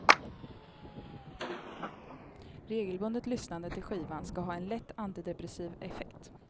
Regelbundet lyssnande till skivan ska ha en lätt antidepressiv effekt.